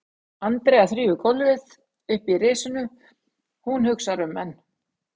Andrea þrífur gólfið uppi í risinu, hún hugsar um menn